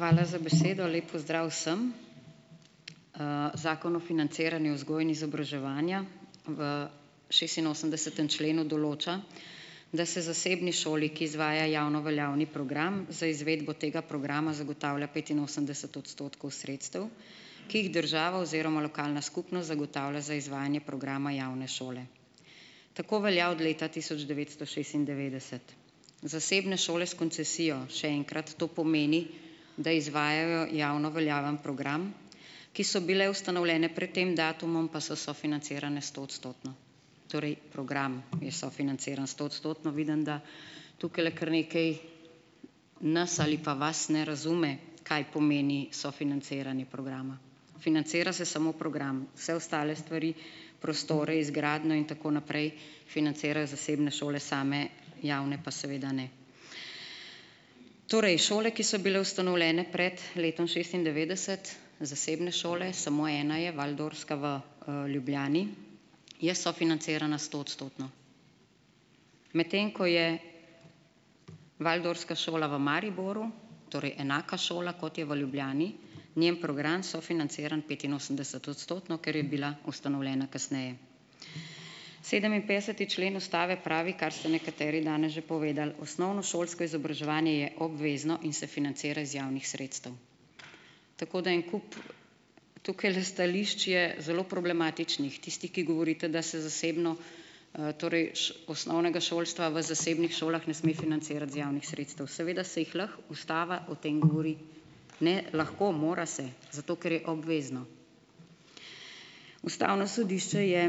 Hvala za besedo. Lep pozdrav vsem! Zakon o financiranju vzgoje in izobraževanja v šestinosemdesetem členu določa, da se zasebni šoli, ki izvaja javno veljavni program za izvedbo tega progama zagotavlja petinosemdeset odstotkov sredstev, ki jih država oziroma lokalna skupnost zagotavlja za izvajanje programa javne šole. Tako velja od leta tisoč devetsto šestindevetdeset. Zasebne šole s koncesijo, še enkrat, to pomeni, da izvajajo javno veljavni program, ki so bile ustanovljene pred tem datumom, pa so sofinancirane stoodstotno, torej program je sofinanciran stoodstotno. Vidim, da tukajle kar nekaj nas ali pa vas ne razume, kaj pomeni sofinanciranje programa. Financira se samo program, vse ostale stvari, prostore, izgradnjo in tako naprej, financirajo zasebne šole same, javne pa seveda ne. Torej šole, ki so bile ustanovljene pred letom šestindevetdeset, zasebne šole, samo ena je, waldorfska v, Ljubljani, je sofinancirana stoodstotno. Medtem ko je waldorfska šola v Mariboru, torej enaka šola, kot je v Ljubljani, njen program sofinanciran petinosemdesetodstotno, ker je bila ustanovljena kasneje. Sedeminpetdeseti člen ustave pravi, kar ste nekateri danes že povedali, osnovnošolsko izobraževanje je obvezno in se financira iz javnih sredstev. Tako da en kup tukajle stališč je zelo problematičnih, tisti, ki govorite, da se zasebno, torej osnovnega šolstva v zasebnih šolah ne sme financirati iz javnih sredstev. Seveda se jih lahko, ustava o tem govori, ne lahko, mora se, zato ker je obvezno. Ustavno sodišče je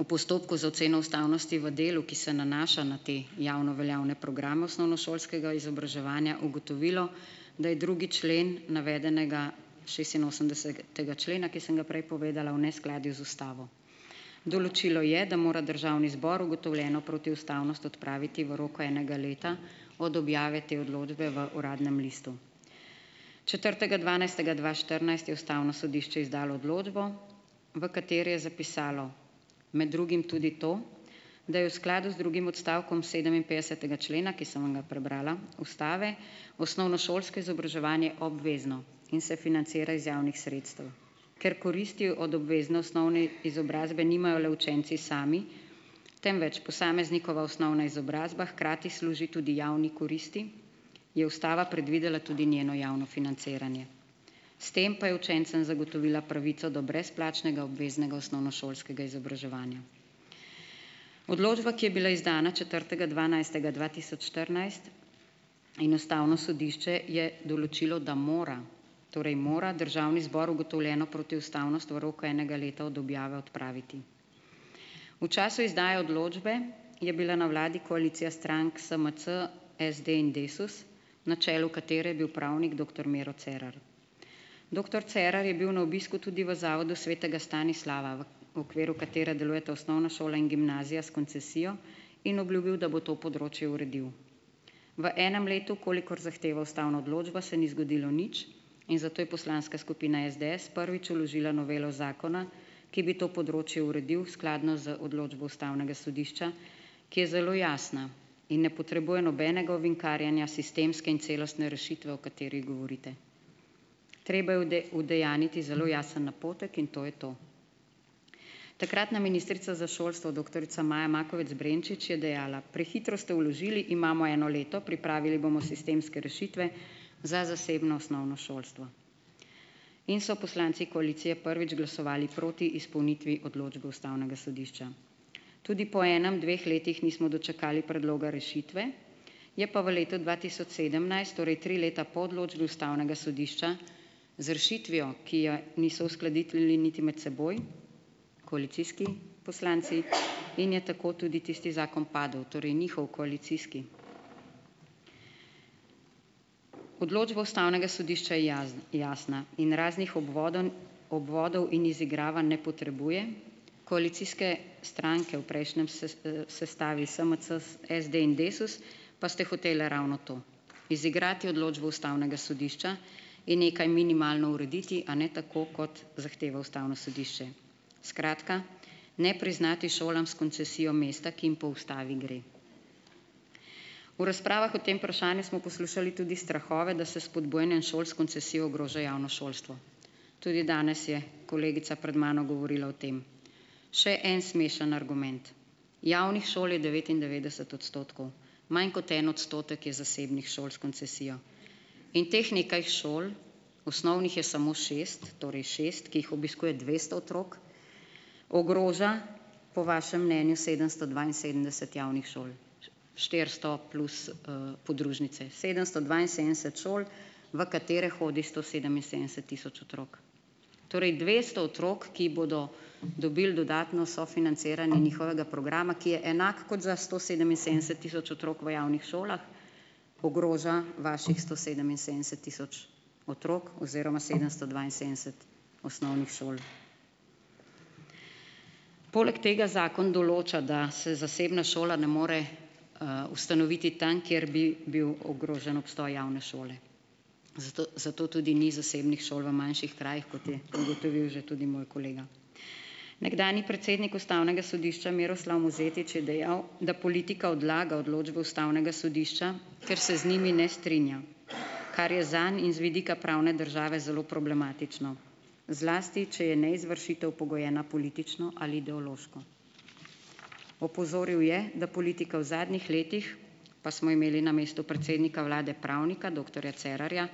v postopku za oceno ustavnosti v delu, ki se nanaša na te javno veljavne programe osnovnošolskega izobraževanja ugotovilo, da je drugi člen navedenega šestinosemdesetega člena, ki sem ga prej povedala, v neskladju z ustavo. Določilo je, da mora državni zbor ugotovljeno protiustavnost odpraviti v roku enega leta od objave te odločbe v Uradnem listu. Četrtega dvanajstega dva štirinajst je ustavno sodišče izdalo odločbo, v kateri je zapisalo med drugim tudi to, da je v skladu z drugim odstavkom sedeminpetdesetega člena, ki sem ga prebrala, ustave, osnovnošolsko izobraževanje obvezno in se financira iz javnih sredstev, ker koristi od obvezne osnovne izobrazbe nimajo le učenci sami, temveč posameznikova osnovna izobrazba hkrati služi tudi javni koristi, je ustava predvidela tudi njeno javno financiranje. S tem pa je učencem zagotovila pravico do brezplačnega obveznega osnovnošolskega izobraževanja. Odločba, ki je bila izdana četrtega dvanajstega dva tisoč štirinajst, in ustavno sodišče je določilo, da mora, torej mora državni zbor ugotovljeno protiustavnost v roku enega leta od objave odpraviti. V času izdaje odločbe je bila na vladi koalicija strank SMC, SD in Desus, na čelu katere je bil pravnik doktor Miro Cerar. Doktor Cerar je bil na obisku tudi v Zavodu svetega Stanislava, v okviru katerega delujeta osnovna šola in gimnazija s koncesijo in obljubil, da bo to področje uredil. V enem letu, kolikor zahteva ustavna odločba, se ni zgodilo nič in zato je poslanska skupina SDS prvič vložila novelo zakona, ki bi to področje uredil skladno z odločbo ustavnega sodišča, ki je zelo jasna in ne potrebuje nobenega ovinkarjenja sistemske in celostne rešitve, o kateri govorite. Treba je udejanjiti zelo jasen napotek in to je to. Takratna ministrica za šolstvo, doktorica Maja Makovec Brenčič je dejala, prehitro ste vložili, imamo eno leto, pripravili bomo sistemske rešitve za zasebno osnovno šolstvo in so poslanci koalicije prvič glasovali proti izpolnitvi odločbe ustavnega sodišča. Tudi po enem, dveh letih nismo dočakali predloga rešitve, je pa v letu dva tisoč sedemnajst, torej tri leta po odločbi ustavnega sodišča z rešitvijo, ki je niso uskladiteljni niti med seboj, koalicijski poslanci in je tako tudi tisti zakon padel, torej njihov koalicijski. Odločba ustavnega sodišča je jasna in raznih obvodenj, obvodov in izigravanj ne potrebuje, koalicijske stranke v prejšnjem sestavi, SMC, SD in Desus, pa ste hotele ravno to, izigrati odločbo ustavnega sodišča in nekaj minimalno urediti, a ne tako, kot zahteva ustavno sodišče. Skratka, ne priznati šolam s koncesijo mesta, ki jim po ustavi gre. V razpravah o tem vprašanju smo poslušali tudi strahove, da se s spodbujanjem šol s koncesijo ogroža javno šolstvo. Tudi danes je kolegica pred mano govorila o tem. Še en smešen argument. Javnih šol je devetindevetdeset odstotkov, manj kot en odstotek je zasebnih šol s koncesijo in teh nekaj šol, osnovnih je samo šest, torej šest, ki jih obiskuje dvesto otrok, ogroža po vašem mnenju sedemsto dvainsedemdeset javnih šol, štiristo plus, podružnice, sedemsto dvainsedemdeset šol, v katere hodi sto sedeminsedemdeset tisoč otrok. Torej dvesto otrok, ki bodo dobili dodatno sofinanciranje njihovega programa, ki je enak kot za sto sedeminsedemdeset tisoč otrok v javnih šolah, ogroža vaših sto sedeminsedemdeset tisoč otrok oziroma sedemsto dvainsedemdeset osnovnih šol. Poleg tega zakon določa, da se zasebna šola ne more, ustanoviti tam, kjer bi bil ogrožen obstoj javne šole, zato, zato tudi ni zasebnih šol v manjših krajih, kot je ugotovil že tudi moj kolega. Nekdanji predsednik ustavnega sodišča Miroslav Mozetič je dejal, da politika odlaga odločbo ustavnega sodišča, ker se z njimi ne strinja, kar je zanj in z vidika pravne države zelo problematično, zlasti če je neizvršitev pogojena politično ali ideološko. Opozoril je, da politika v zadnjih letih, pa smo imeli na mestu predsednika vlade pravnika doktorja Cerarja,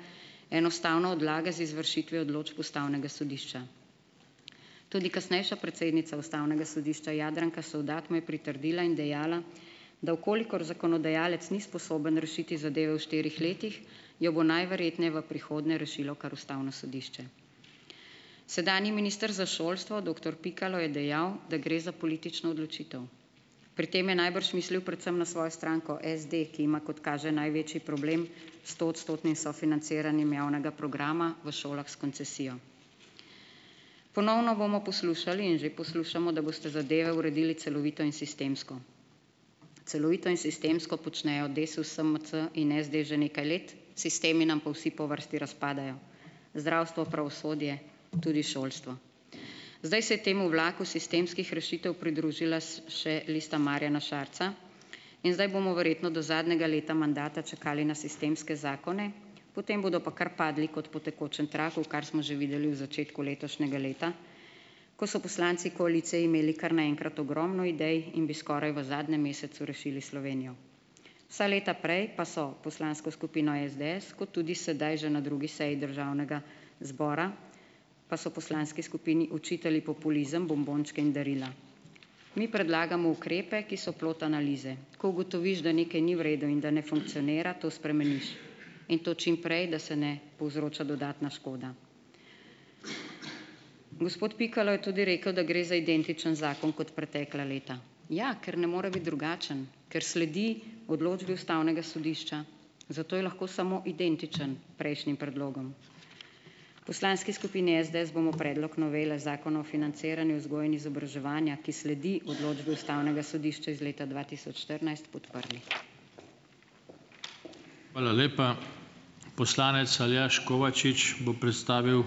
enostavno odlaga z izvršitvijo odločb ustavnega sodišča. Tudi kasnejša predsednica ustavnega sodišča Jadranka Sovdat mu je pritrdila in dejala, da v kolikor zakonodajalec ni sposoben rešiti zadeve v štirih letih, jo bo najverjetneje v prihodnje rešilo kar ustavno sodišče. Sedanji minister za šolstvo doktor Pikalo je dejal, da gre za politično odločitev. Pri tem je najbrž mislil predvsem na svojo stranko SD, ki ima kot kaže največji problem s stoodstotnim sofinanciranjem javnega programa v šolah s koncesijo. Ponovno bomo poslušali in že poslušamo, da boste zadeve uredili celovito in sistemsko. Celovito in sistemsko počnejo Desus, SMC in SD že nekaj let, sistemi nam pa vsi po vrsti razpadajo - zdravstvo, pravosodje tudi šolstvo. Zdaj se je temu vlaku sistemskih rešitev pridružila še Lista Marjana Šarca in zdaj bomo verjetno do zadnjega leta mandata čakali na sistemske zakone, potem bodo pa kar padli kot po tekočem traku, kar smo že videli v začetku letošnjega leta, ko so poslanci koalicije imeli kar naenkrat ogromno idej in bi skoraj v zadnjem mesecu rešili Slovenijo. Vsa leta prej pa so poslansko skupino SDS, kot tudi sedaj že na drugi seji državnega zbora, pa so poslanski skupini očitali populizem, "bombončke" in darila. Mi predlagamo ukrepe, ki so plod analize. Ko ugotoviš, da nekaj ni v redu in da ne funkcionira, to spremeniš in to čim prej, da se ne povzroča dodatna škoda. Gospod Pikalo je tudi rekel, da gre identičen zakon kot pretekla leta. Ja, ker ne more biti drugačen, ker sledi odločbi ustavnega sodišča, zato je lahko samo identičen prejšnjim predlogom. V poslanski skupini SDS bomo predlog novele Zakona o financiranju vzgoje in izobraževanja, ki sledi odločbi ustavnega sodišča iz leta dva tisoč štirinajst, podprli.